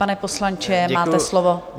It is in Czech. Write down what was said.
Pane poslanče, máte slovo.